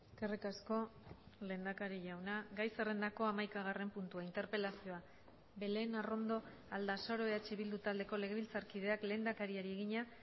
eskerrik asko lehendakari jauna gai zerrendako hamaikagarren puntua interpelazioa belén arrondo aldasoro eh bildu taldeko legebiltzarkideak lehendakariari egina